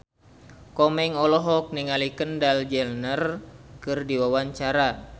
Komeng olohok ningali Kendall Jenner keur diwawancara